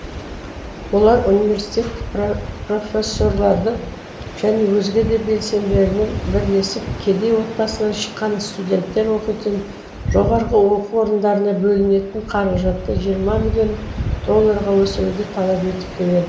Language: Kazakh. олар университет профессорларды және өзге де белсенділермен бірлесіп кедей отбасынан шыққан студенттер оқитын жоғарғы оқу орындарына бөлінетін қаражатты жиырма миллион долларға өсіруді талап етіп келеді